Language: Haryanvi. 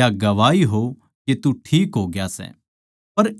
या गवाही हो के तू ठीक होग्या सै